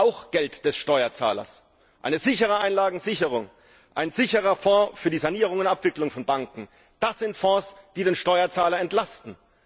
Auch Geld des Steuerzahlers! Eine sichere Einlagensicherung, ein sicherer Fonds für die Sanierung und Abwicklung von Banken das sind Fonds, die den Steuerzahler entlasten.